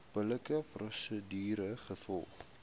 billike prosedure gevolg